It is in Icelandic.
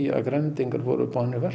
að Grænlendingar voru boðnir